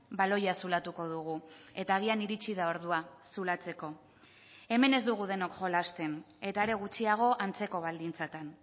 baloia zulatuko dugu eta agian iritsi da ordua zulatzeko hemen ez dugu denok jolasten eta are gutxiago antzeko baldintzetan